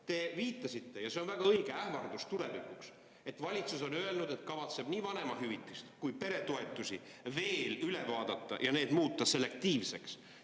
Te viitasite – ja see on väga õige ähvardus tulevikuks –, et valitsus kavatseb nii vanemahüvitisi kui ka peretoetusi veel üle vaadata ja muuta need selektiivseks.